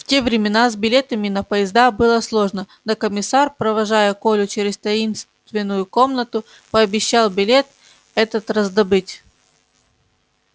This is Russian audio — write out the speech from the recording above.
в те времена с билетами на поезда было сложно но комиссар провожая колю через таинственную комнату пообещал билет этот раздобыть